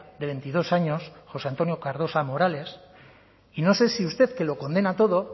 de veintidós años josé antonio cardosa morales y no sé si usted que lo condena todo